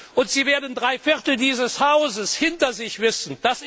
Und Sie werden drei Viertel dieses Hauses hinter sich wissen.